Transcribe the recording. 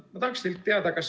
Ma tahaksin teilt teada, kas ...